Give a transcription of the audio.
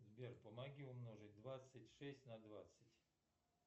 сбер помоги умножить двадцать шесть на двадцать